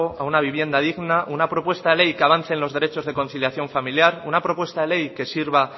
a una vivienda digna una propuesta de ley que avance en los derechos de conciliación familiar una propuesta de ley que sirva